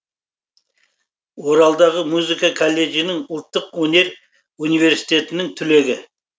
оралдағы музыка колледжінің ұлттық өнер университетінің түлегі